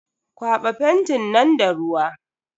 Kwaba fentin nan da ruwa.